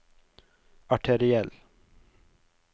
arteriell